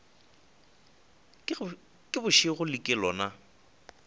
ke bošego le ke lona